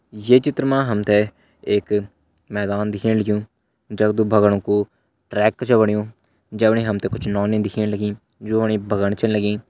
ये चित्र मा हमते एक मैदान दिखेण लग्युँ जगदु भगण कू ट्रैक छ बण्यू जमणी हमते कुछ नौनी दिखेण लगीं जूनि भगण च लगीं।